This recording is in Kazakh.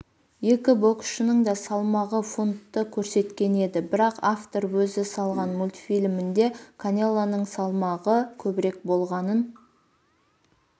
екі боксшының да салмағы фунтты көрсеткен еді бірақ автор өзі салған мультфильмінде канелоның салмағы көбірек болғанын